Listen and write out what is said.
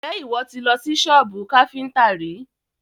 Ǹjẹ́ ìwọ ti lọ sí sọ́bù káfíntà rí?